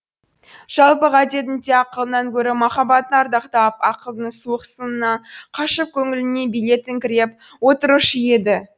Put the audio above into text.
жалпы ғадетінде ақылынан гөрі махаббатын ардақтап ақылдың суық сынынан қашып көңіліне билет іңкіреп отырушы еді